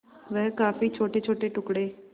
वह काफी छोटेछोटे टुकड़े